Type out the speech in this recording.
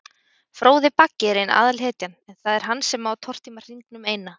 Fróði Baggi er ein aðalhetjan, en það er hann sem á að tortíma hringnum eina.